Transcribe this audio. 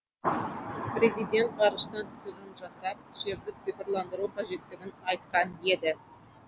президент ғарыштан түсірілім жасап жерді цифрландыру қажеттігін айтқан еді